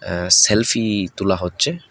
আঃ selfie তোলা হচ্ছে।